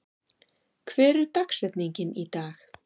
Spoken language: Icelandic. , hver er dagsetningin í dag?